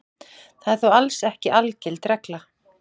Það er þó alls ekki algild regla.